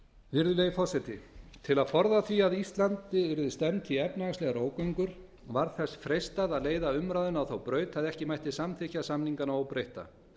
virðulegi forseti til að forða því að íslandi yrði stefnt í efnahagslegar ógöngur var þess freistað að leiða umræðuna á þá braut að ekki mætti samþykkja samningana óbreytta